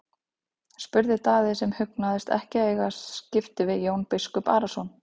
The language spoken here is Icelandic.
spurði Daði sem hugnaðist ekki að eiga skipti við Jón biskup Arason.